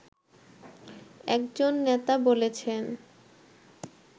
একজন নেতা বলেছেন